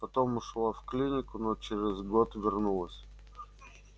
потом ушла в клинику но через год вернулась